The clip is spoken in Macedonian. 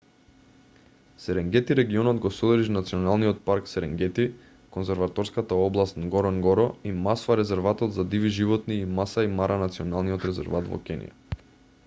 серенгети регионот го содржи националниот парк серенгети конзерваторската област нгоронгоро и масва резерватот за диви животни и масаи мара националниот резерват во кенија